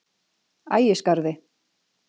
Ægisgarði